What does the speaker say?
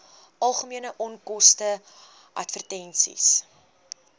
algemene onkoste advertensies